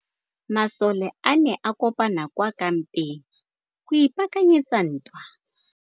Masole a ne a kopane kwa kampeng go ipaakanyetsa ntwa.